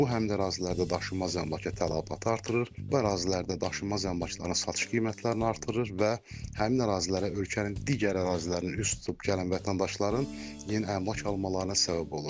Bu həmin ərazilərdə daşınmaz əmlaka tələbatı artırır, bu ərazilərdə daşınmaz əmlakların satış qiymətlərini artırır və həmin ərazilərə ölkənin digər ərazilərini üz tutub gələn vətəndaşların yeni əmlak almalarına səbəb olur.